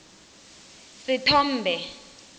sethombe